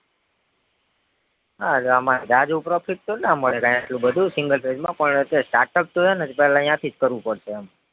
હા એમાં જાજુ profit તો ના મળે કઈ એટલું બધું single phase માં પણ જે startup છે ને પેલા અહીંયા થીજ કરવું પડશે એમ